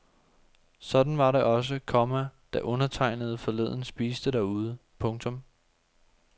Sådan var det også, komma da undertegnede forleden spiste derude. punktum